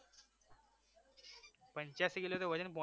પંચ્યાશી કિલો તો વજન પહોંચી